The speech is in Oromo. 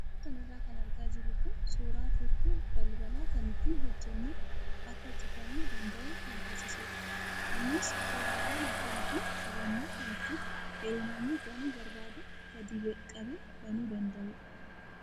Suuraa kanarra kan argaa jirru kun suuraa furtuu balbalaa kan ittiin hojjannee akka cufamuu danda'u kan taasisudha. Innis uraawwan afurii fi qabannoo kan ittiin yeroo namni banuu barbaadu gadi qabee banuu danda'udha.